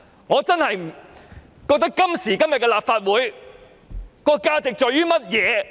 我真的想問今時今日的立法會的價值是甚麼？